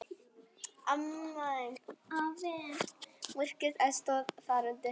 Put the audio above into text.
Virk eldstöð er þar undir.